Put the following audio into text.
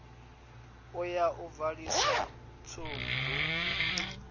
u ya u valisa tshubu